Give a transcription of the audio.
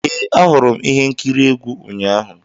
Ee, ahụrụ m ihe nkiri egwu ụnyahụ.